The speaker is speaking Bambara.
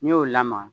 N'i y'o lamaga